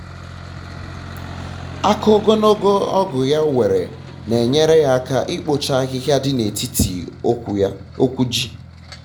aka ogologo ọgụ ya nwere na-enyere ya aka ikpocha um ahịhịa dị na etiti okwu ji